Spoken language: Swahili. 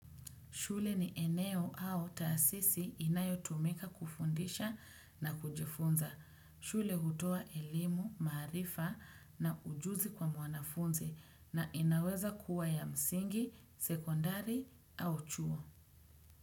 Shule ni eneo au taasisi inayo tumika kufundisha na kujifunza. Shule hutoa elimu, maarifa na ujuzi kwa mwanafunzi na inaweza kuwa ya msingi, sekondari au chuo.